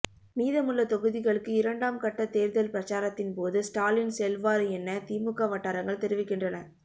மீதமுள்ள தொகுதிகளுக்கு இரண்டாம் கட்ட தேர்தல் பிரச்சாரத்தின் போது ஸ்டாலின் செல்வார் என திமுக வட்டாரங்கள் தெரிவிக்கின்றன